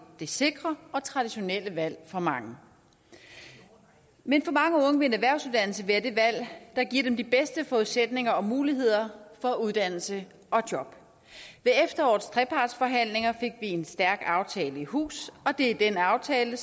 det sikre og traditionelle valg for mange men for mange unge vil en erhvervsuddannelse være det valg der giver dem de bedste forudsætninger og muligheder for uddannelse og job ved efterårets trepartsforhandlinger fik en stærk aftale i hus og det er den aftale